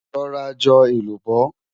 rò rà jò èlùbọ́